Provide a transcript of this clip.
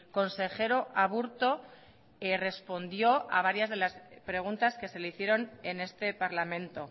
consejero aburto respondió a varias de las preguntas que se le hicieron en este parlamento